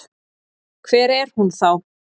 Hver er hún þá?